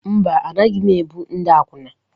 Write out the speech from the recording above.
Mba, anaghị m ebu ndị akwụna.